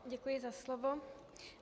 Děkuji za slovo.